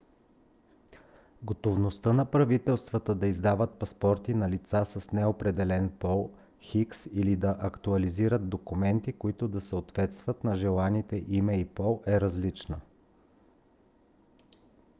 готовността на правителствата да издават паспорти на лица с неопределен пол x или да актуализират документи които да съответстват на желаните име и пол е различна